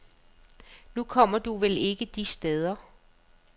Nu kommer du vel ikke de steder.